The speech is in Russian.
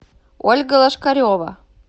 ольга лошкарева